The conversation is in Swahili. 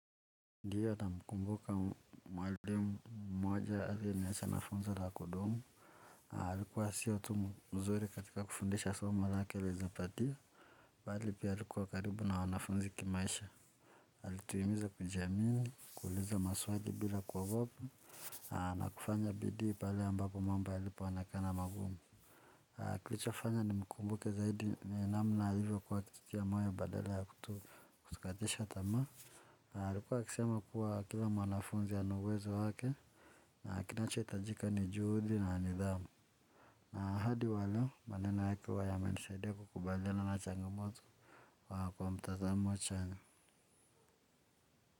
Ndiyo namkumbuka mwalimu mmoja aliyeniacha na funzo la kudumu, alikuwa siyo tu mzuri katika kufundisha somo lake la hisabatia, bali pia alikuwa karibu na wanafunzi kimaisha. Alituhimiza kujiamini, kuuliza maswali bila kuogopa, na kufanya bidii pale ambapo mambo yalipoonekana magumu. Kilichofanya nimkumbuke zaidi ni namna alivyokuwa akitutia moyo badala ya kutukatisha tamaa, alikuwa akisema kuwa akiwa mwanafunzi ana uwezo wake na kinachohitajika ni juhudi na nidhamu na hadi wa leo maneno yake huwa yamenisaidia kukubaliana na changamoto kwa mtazamo chanya.